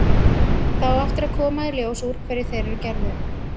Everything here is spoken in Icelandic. Það á eftir að koma í ljós úr hverju þeir eru gerðir.